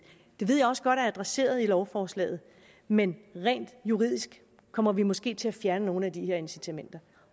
det ved jeg også godt er adresseret i lovforslaget men rent juridisk kommer vi måske til at fjerne nogle af de her incitamenter